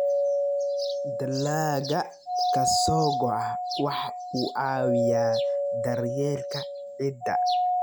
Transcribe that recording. Dalagga ka soo go'a waxa uu caawiyaa daryeelka ciidda.